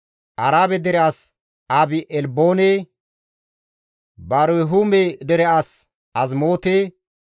Arabe dere as Abi-Elboone, Barhume dere as Azimoote,